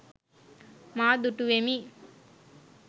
මා දුටුවෙමි.